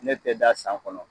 Ne tɛ da san kɔnɔ.